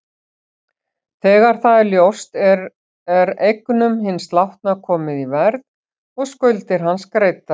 Þegar það er ljóst er eignum hins látna komið í verð og skuldir hans greiddar.